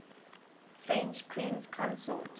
french queens consort